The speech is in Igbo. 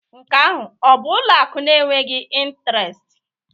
Nke ahụ ọ bụ ụlọ akụ na-enweghị intiresti?